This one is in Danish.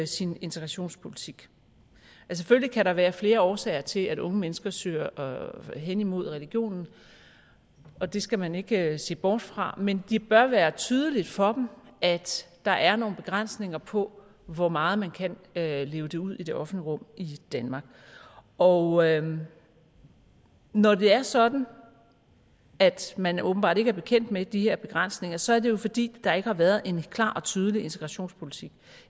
sin integrationspolitik selvfølgelig kan der være flere årsager til at unge mennesker søger hen imod religionen og det skal man ikke se bort fra men det bør være tydeligt for dem at der er nogle begrænsninger på hvor meget man kan leve det ud i det offentlige rum i danmark og når det er sådan at man åbenbart ikke er bekendt med de her begrænsninger så er det jo fordi der ikke har været en klar og tydelig integrationspolitik